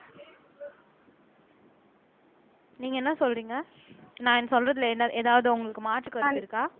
நீங்க என்ன சொல்றீங்க நான் சொல்றதுல ஏதாவது உங்களுக்கு மாற்றுக்கருத்து இருக்கா